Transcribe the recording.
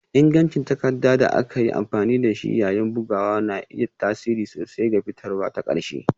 Ingancin takarda da aka yi amfani da shi yayin bugu na iya tasiri sosai ga fitarwa ta ƙarshe